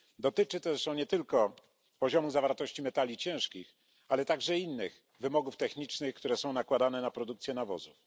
Dotyczy to zresztą nie tylko poziomu zawartości metali ciężkich, ale także innych wymogów technicznych, które są nakładane na produkcję nawozów.